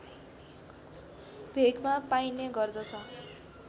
भेगमा पाइने गर्दछ